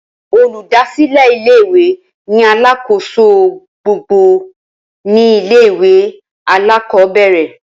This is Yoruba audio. Olùdásílé ilé ìwé ni alákòóso gbogboogbò ní ilé ìwé alákòóbèrè